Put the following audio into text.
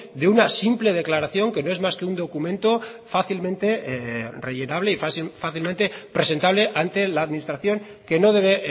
de una simple declaración que no es más que un documento fácilmente rellenable y fácilmente presentable ante la administración que no debe